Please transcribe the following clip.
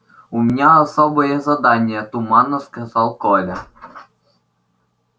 у меня особое задание туманно сказал коля